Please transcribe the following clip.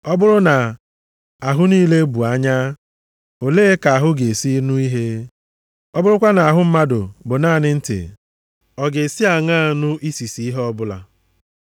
Ọ bụrụ na ahụ niile bụ anya, olee ka ahụ ga-esi nụ ihe? Ọ bụrụkwa na ahụ mmadụ bụ naanị ntị ọ ga-esi aṅaa nụ isisi ihe ọbụla?